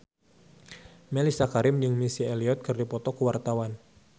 Mellisa Karim jeung Missy Elliott keur dipoto ku wartawan